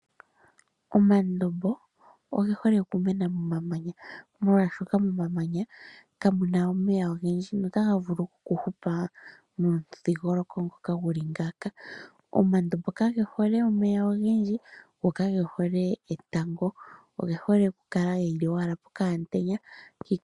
Omandombo oge hole okumena momamanya, molwashoka momamanya kamu na omeya ogendji notaga vulu okuhupa momudhingoloko ngoka gu li ngaaka. Omandombo kage hole omeya ogendji go kage hole etango, oge hole okukala owala pokaantenya.